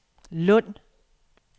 Lund